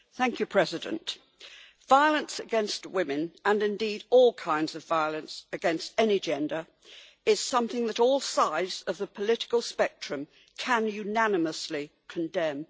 Madam President, violence against women, and indeed all kinds of violence against any gender is something that all sides of the political spectrum can unanimously condemn.